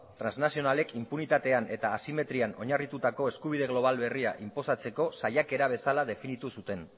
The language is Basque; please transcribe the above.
transnazionalek inpunitatean eta asimetrian oinarritutako eskubide global berria inposatzeko saiakera bezala definitu zuten